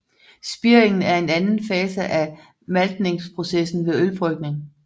Spiringen er anden fase af maltningsprocessen ved ølbrygning